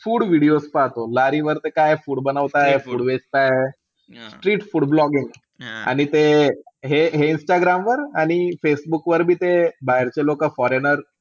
Food videos पाहतो. वर ते काय food बनवताय food वेचताय. street food blogging ते हे-हे इंस्टाग्रामवर, फेसबुकवर बी ते बाहेरचे लोकं foreigner